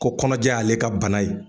Ko kɔnɔja ye ale ka bana ye.